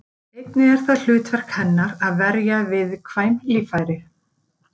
Einnig er það hlutverk hennar að verja viðkvæm líffæri.